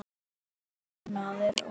Annað er óeðli.